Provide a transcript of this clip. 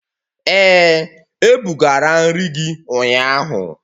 Ee, ebugara nri gị ụnyahụ.